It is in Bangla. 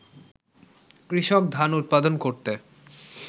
কৃষক ধান উৎপাদন করতে